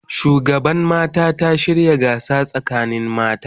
Shugaban mata ta shirya gasa sakanin mata